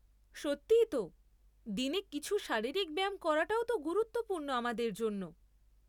সত্যি তো দিনে কিছু শারীরিক ব্যায়াম করাটাও তো গুরুত্বপূর্ণ আমাদের জন্য।